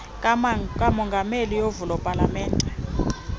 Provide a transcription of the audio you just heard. kamongameli yovulo palamente